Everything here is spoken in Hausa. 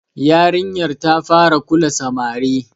Yarinyar ta fara kula samari.